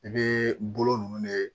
I bɛ bolo ninnu de